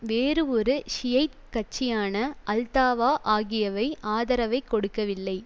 வேறு ஒரு ஷியைட் கட்சியான அல்தாவா ஆகியவை ஆதரவைக் கொடுக்கவில்லை